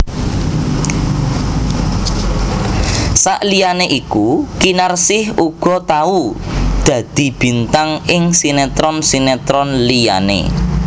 Saliyané iku Kinarsih uga tau dadi bintang ing sinetron sinetron liyané